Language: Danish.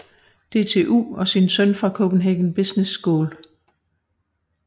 DTU og sin søn fra Copenhagen Business School